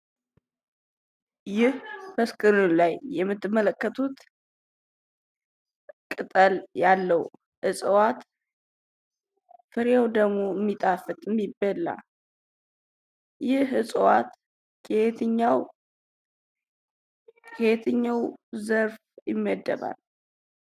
ይህ በስክሪኑ ላይ የምትመለከቱት ቅጠል ያለው እፅዋት ፍሬው ደግሞ ሚጣፍጥ ሚበላ ።ይህ እፅዋት ከየትኛው ከየትኛው ዘር ይመደባል?